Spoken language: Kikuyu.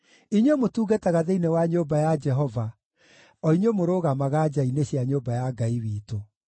inyuĩ mũtungataga thĩinĩ wa nyũmba ya Jehova, o inyuĩ mũrũgamaga nja-inĩ cia nyũmba ya Ngai witũ.